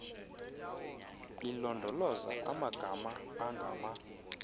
ilondoloza amanzi angama